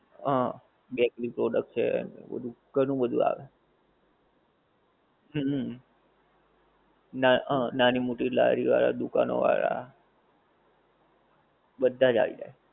હં. Bakery product છે ને એ બધુ ઘણું બધુ આવે. હુંમ હુંમ. નાં હં નાની મોટી લારી વાળાં દુકાનો વાળાં. બધા જ આવી જાય.